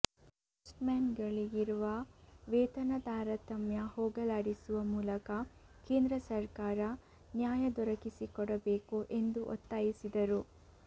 ಪೋಸ್ಟ್ಮನ್ಗಳಿಗೆ ಇರುವ ವೇತನ ತಾರತಮ್ಯ ಹೋಗಲಾಡಿಸುವ ಮೂಲಕ ಕೇಂದ್ರ ಸರ್ಕಾರ ನ್ಯಾಯ ದೊರಕಿಸಿಕೊಡಬೇಕು ಎಂದು ಒತ್ತಾಯಿಸಿದರು